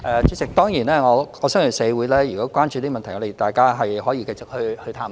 主席，如果社會關注這問題，大家是可以繼續探討的。